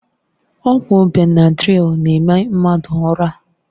Ọgwụ Benadrịl na-eme mmadụ ụra.